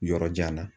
Yɔrɔ jan na